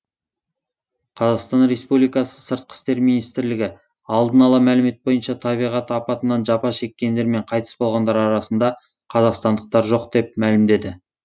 қазақстан республикасы сыртқы істер министрлігі алдын ала мәлімет бойынша табиғат апатынан жапа шеккендер мен қайтыс болғандар арасында қазақстандықтар жоқ деп мәлімдеді